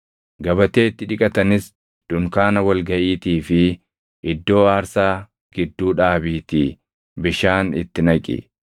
gabatee itti dhiqatanis dunkaana wal gaʼiitii fi iddoo aarsaa gidduu dhaabiitii bishaan itti naqi.